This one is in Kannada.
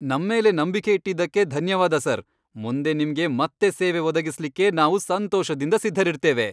ನಮ್ಮೇಲೆ ನಂಬಿಕೆ ಇಟ್ಟಿದ್ದಕ್ಕೆ ಧನ್ಯವಾದ ಸರ್. ಮುಂದೆ ನಿಮ್ಗೆ ಮತ್ತೆ ಸೇವೆ ಒದಗಿಸ್ಲಿಕ್ಕೆ ನಾವು ಸಂತೋಷದಿಂದ ಸಿದ್ಧರಿರ್ತೇವೆ.